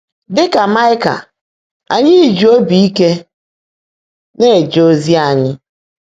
Dị́ kà Máịkà, ányị́ jị óbí íke ná-èje ózí ányị́